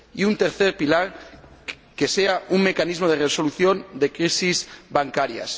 Y un tercer pilar que sea un mecanismo de resolución de crisis bancarias.